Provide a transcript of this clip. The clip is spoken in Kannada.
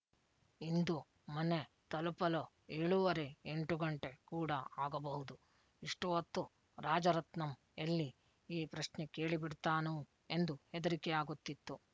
ಇಂದು ಮನೆ ತಲುಪಲು ಏಳೂವರೆಎಂಟು ಗಂಟೆ ಕೂಡ ಆಗಬಹುದು ಇಷ್ಟು ಹೊತ್ತು ರಾಜರತ್ನಂ ಎಲ್ಲಿ ಈ ಪ್ರಶ್ನೆ ಕೇಳಿ ಬಿಡ್ತಾನೋ ಎಂದು ಹೆದರಿಕೆಯಾಗುತಿತ್ತು